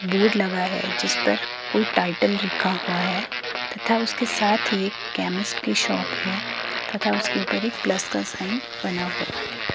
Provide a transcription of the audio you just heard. Board लगा है जिस पर कोई टाइटल लिखा हुआ है। तथा उसके साथ ही एक केमिस्ट की शॉप है तथा उसके ऊपर एक प्लस का साइन बना हुआ है।